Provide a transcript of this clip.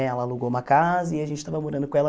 Ela alugou uma casa e a gente estava morando com ela.